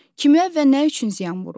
Kimə və nə üçün ziyan vurur?